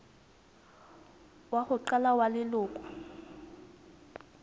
wa ho qala wa leloko